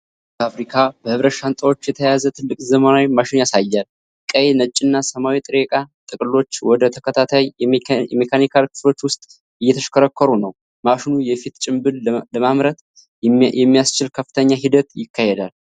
ይህ ፋብሪካ በብረት ሻንጣዎች የተያዘ ትልቅ ዘመናዊ ማሽን ያሳያል። ቀይ፣ ነጭና ሰማያዊ ጥሬ ዕቃ ጥቅልሎች ወደ ተከታታይ የሜካኒካል ክፍሎች ውስጥ እየተሽከረከሩ ነው። ማሽኑ የፊት ጭንብል ለማምረት የሚያስችል ከፍተኛ ሂደት ይካሄዳል።